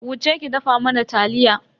Wuce ki dafa mana taliya.